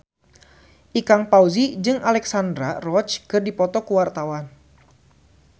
Ikang Fawzi jeung Alexandra Roach keur dipoto ku wartawan